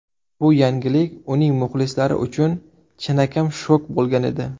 Bu yangilik uning muxlislari uchun chinakam shok bo‘lgan edi.